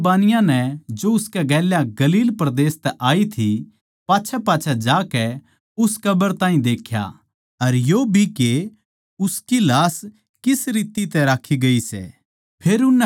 उन बिरबानियाँ नै जो उसके गेल्या गलील परदेस तै आई थी पाच्छैपाच्छै जाकै उस कब्र नै देख्या के अर यो भी के उसकी लाश किस रीति तै राक्खी गयी सै